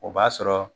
O b'a sɔrɔ